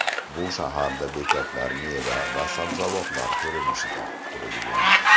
Bu shaharda bekatlar meva va sabzavotlar ko‘rinishida qurilgan.